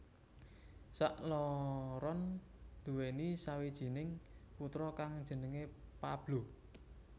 Sakloron duwéni sawijining putra kang jenenge Pablo